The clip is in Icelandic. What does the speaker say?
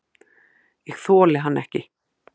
Ég þoli hann ekki.